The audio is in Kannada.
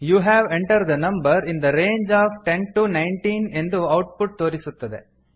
you have entered the number in the range of ten to nineteen ಎಂದು ಔಟ್ ಪುಟ್ ತೋರಿಸುತ್ತದೆ